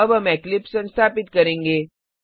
अब हम इक्लिप्स संस्थापित करेंगे